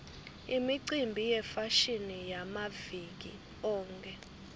imicimbi yefashini yamaviki onkhe